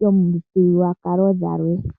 yomithigululwakalo dhilwe.